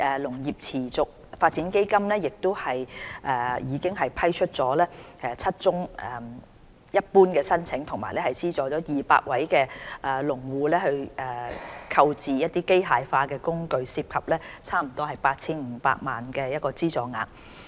"農業持續發展基金"已批出7宗一般申請及資助約200位農戶購置機械化工具，涉及約 8,500 萬元的資助額。